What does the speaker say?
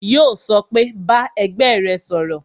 Yó sọ pé "Bá ẹgbẹ́ rẹ sọ̀rọ̀